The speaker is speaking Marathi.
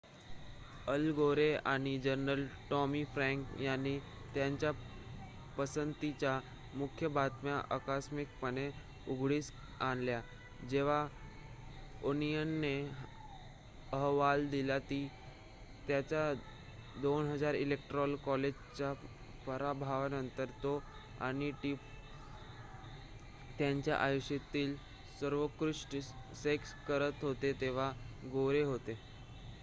अल गोरे आणि जनरल टॉमी फ्रॅंक यांनी त्यांच्या पसंतीच्या मुख्य बातम्या आकस्मिकपणे उघडकीस आणल्या जेव्हा ओनियनने अहवाल दिला की त्याच्या 2000 इलेक्टोरल कॉलेजच्या पराभवानंतर तो आणि टिपर त्यांच्या आयुष्यातील सर्वोत्कृष्ट सेक्स करत होते तेव्हा गोरे होते